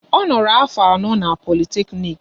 Ọ noro afọ anọ n'Politeknik